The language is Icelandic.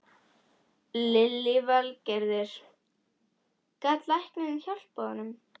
Lillý Valgerður: Gat læknirinn hjálpað honum?